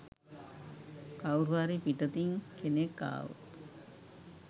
කවුරුහරි පිටතින් කෙනෙක් ආවොත්